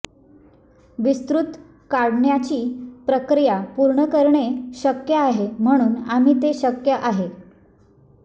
विस्तृत काढण्याची प्रक्रिया पूर्ण करणे शक्य आहे म्हणून आम्ही ते शक्य आहे